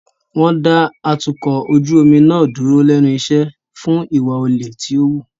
Wọ́n dá atukọ̀ ojú omi náà dúró lẹ́nu iṣẹ́ fún ìwà olè tí ó wù.